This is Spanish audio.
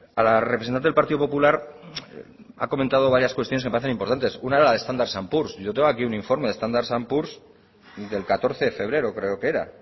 a la representante del partido popular ha comentado varias cuestiones que me parecen importantes una era la de standard poors yo tengo aquí un informe de standard poors del catorce de febrero creo que era